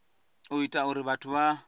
u ita uri vhathu vha